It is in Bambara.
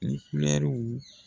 U kulɛriw